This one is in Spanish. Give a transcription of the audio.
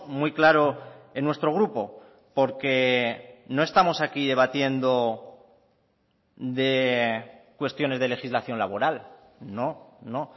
muy claro en nuestro grupo porque no estamos aquí debatiendo de cuestiones de legislación laboral no no